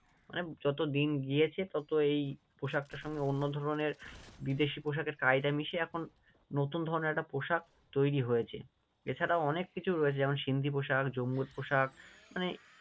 মানে যতদিন গিয়েছে তত এই পোশাকটার সঙ্গে অন্য ধরণের বিদেশি পোশাকের কায়দা মিশে এখন নতুন ধরণের একটা পোশাক তৈরী হয়েছে, এছাড়াও অনেক কিছু রয়েছে যেমন সিন্ধি পোশাক, জম্বু পোশাক